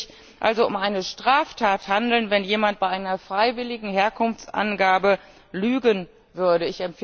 Es würde sich also um eine Straftat handeln, wenn jemand bei einer freiwilligen Herkunftsangabe lügen würde.